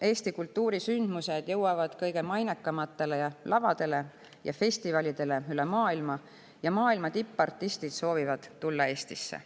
Eesti kultuurisündmused jõuavad kõige mainekamatele lavadele ja festivalidele üle maailma ning maailma tippartistid soovivad tulla Eestisse.